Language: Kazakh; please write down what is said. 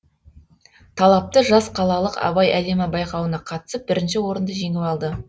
талапты жас қалалық абай әлемі байқауына қатысып бірінші орынды жеңіп алды